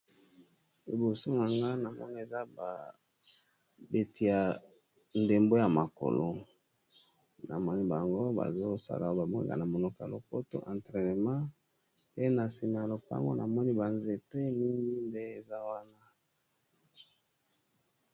Liboso na nga na moni eza babeti ya ndembo ya makolo, na moni bango bazo sala ba mwega na monoka lopoto entraînement, pe na se na ya lopango na moni ba nzepe mingi nde eza wana .